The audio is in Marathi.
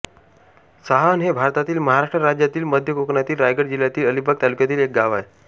साहण हे भारतातील महाराष्ट्र राज्यातील मध्य कोकणातील रायगड जिल्ह्यातील अलिबाग तालुक्यातील एक गाव आहे